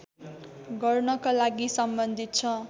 गर्नका लागि सम्बन्धित छ